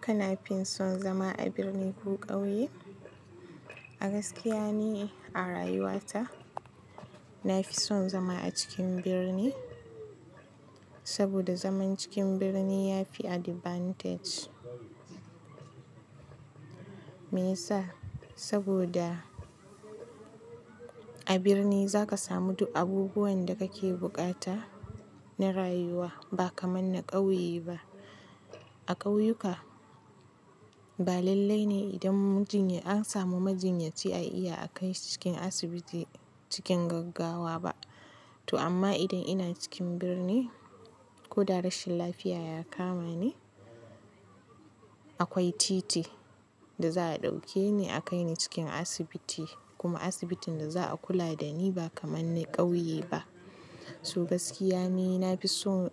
Kana fin son zama a birni ko ƙauye? A gaskiya ni a rayuwata, na fi son zama a cikin birni. Saboda zaman cikin birni ya fi advantage. Me ya sa? Saboda a birni za ka samu duk abubuwan da kake bukata na rayuwa ba kamar na ƙauye ba. A ƙauyuka, ba lallai ne idan an samu majinyaci a iya a kai cikin asibiti cikin gaggawa ba. To amma idan ina cikin birni, ko da rashin lafiya ya kama ni, akwai titi da za a ɗauke ni a kai ni cikin asibiti kuma asibitin da za a kula da ni ba kamar na ƙauye ba. To gaskiya ni, na fi son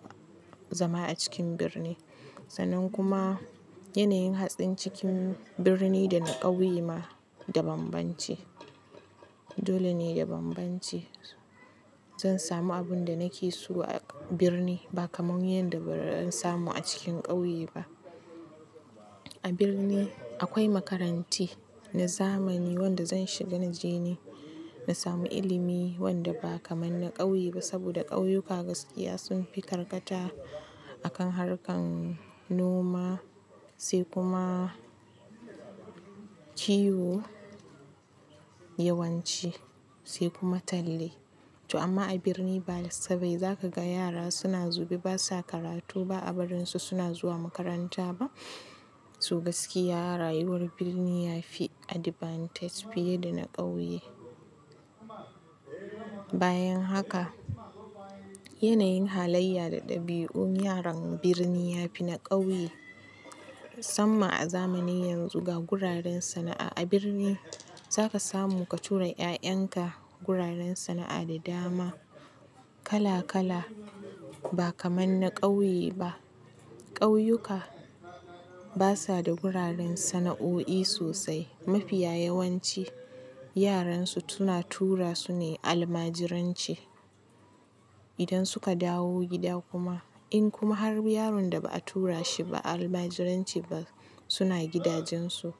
zama a cikin birni. Sannan kuma yanayin hatsin cikin birni da na ƙauye ma dabambance. Dole ne dabambance. Zan samu abin da nake so a birni ba kamar yadda ba zan samu a cikin ƙauye ba. A birni akwai makaranti na zamani wanda zan shiga na je ni na samu ilimi wanda ba kamar na ƙauye ba. Saboda ƙauyuka gaskiya sun fi karkata akan harkar noma sai kuma kiwo yawanci sai kuma talle. To amma a birni ba sai ba za ka ga yara suna zube ba sa karatu ba a barin su suna zuwa makaranta ba. To gaskiya rayuwar birni ya fi advantage fiye da na ƙauye. Bayan haka, yanayin halayya da ɗabi'un yaran birni ya fi na ƙauye. Musamman a zamanin yanzu ga guraren sana'a a birni za ka samu ka tura 'ya'yanka guraren sana'a da dama kala kala ba kamar na ƙauye ba. Ƙauyuka basa da guraren sana'o'i sosai. Mafiya yawanci yaran su suna tura su ne almajiranci. Idan suka dawo gida kuma, in kuma har yaron da ba a tura shi ba almajiranci ba suna gidajen su,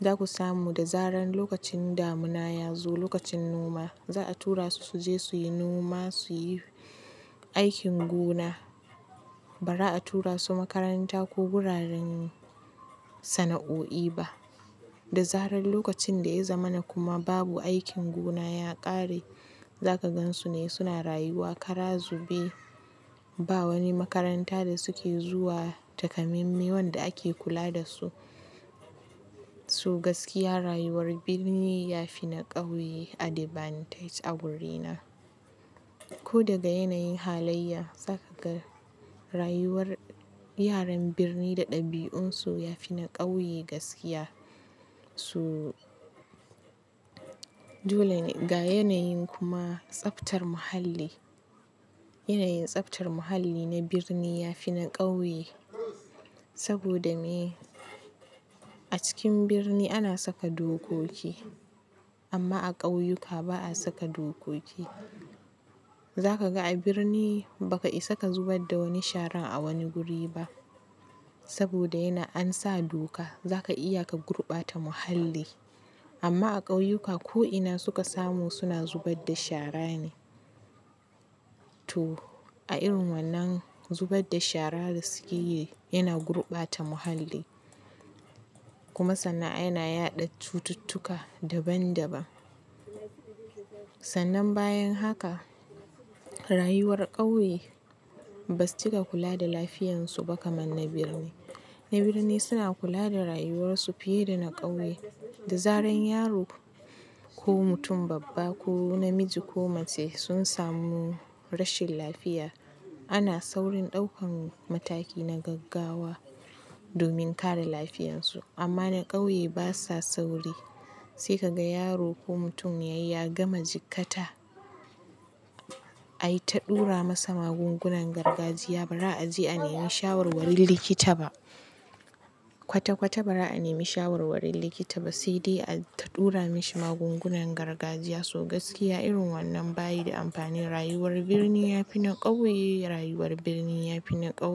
za ku samu da zaran lokacin damuna ya zo, lokacin noma za a tura su su je su yi noma, su yi aikin gona ba ra a tura su makaranta ko guraren sana'o'i ba. Da zaran lokacin da ya zamana kuma babu aikin gona ya ƙare, za ka gan su ne suna rayuwa kara zube. Ba wani makaranta da su ke zuwa, taka mai-mai wanda ake kula da su. To gaskiya rayuwar birni ya fi na ƙauye advantage a wurina. Ko daga yanayin halayya za ka ga rayuwar yaran birni da ɗabi'un su ya fi na ƙauye gaskiya. To dole ne ga yanayin kuma tsaftar muhalli. Yanayin tsaftar muhalli na birni ya fi na ƙauye. Saboda ne a cikin birni ana saka dokoki amma a ƙauyuka ba a saka dokoki. Za ka ga a birni ba ka isa ka zubar da wani sharan a wani guri ba. Saboda yana an sa doka za ka iya ka gurɓata muhalli. Amma a ƙauyuka ko ina suka samu suna zubar da shara ne. To a irin wannan zubar da shara da suke yi yana gurɓata muhalli kuma sana'a yana yaɗa cututtuka daban daban. Sannan bayan haka, rayuwar ƙauye basu cika kula da lafiyan su ba kamar na birni. Na birni suna kula da rayuwar su fiye da na ƙauye. Da zaran yaro ko mutum babba ko namiji ko mace sun samu rashin lafiya, ana saurin ɗaukan mataki na gaggawa domin kare lafiyan su. Amma na ƙauye basa sauri. Sai ka ga yaro ko mutum ya ya gama jikkata ai ta ɗura masa magungunan gargajiya ba ra a je a nemi shawarwarin likita ba. Kwata kwata ba ra a nemi shawarwarin likita ba sai dai a ta ɗura mashi magungunan gargajiya. To gaskiya irin wannan bayi da amfani. Rayuwar birni ya fi na ƙauye, rayuwar birni ya fi na ƙauye.